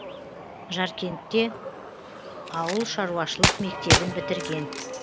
жаркентте ауыл шаруашылық мектебін бітірген